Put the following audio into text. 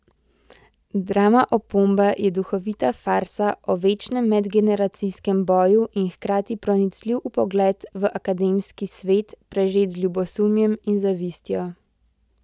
Drama Opomba je duhovita farsa o večnem medgeneracijskem boju in hkrati pronicljiv vpogled v akademski svet, prežet z ljubosumjem in zavistjo.